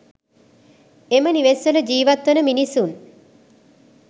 එම නිවෙස් වල ජිවත් වන මිනිසුන්